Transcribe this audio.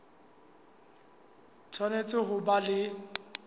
o tshwanetse ho ba le